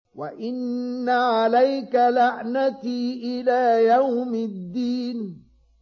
وَإِنَّ عَلَيْكَ لَعْنَتِي إِلَىٰ يَوْمِ الدِّينِ